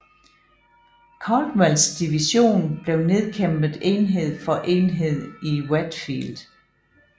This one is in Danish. Caldwells division blev nedkæmpet enhed for enhed i Wheatfield